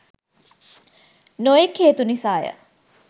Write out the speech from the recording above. නොයෙක් හේතු නිසාය